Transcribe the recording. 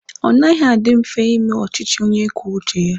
Ọ naghị adị mfe ime ọchịchị onye kwuo uche ya.